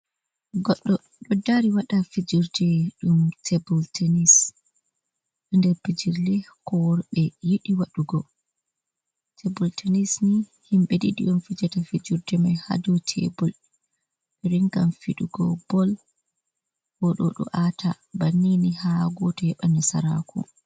Goɗɗo ɗo dari waɗa fijirde ɗum tebul tenis der pijirle ko worɓe yiɗi waɗugo. Tebul tenis nii himɓe ɗiɗi on fijata fijirde mai haa dow tebul. Ɓeringam fiɗugo bol o ɗo ɗo ata, bannini haa goto heɓa nasaraku.